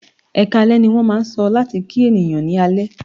"Ẹkáalẹ́" ní wọ́n máà ń sọ láti kí ènìyàn ní alẹ́.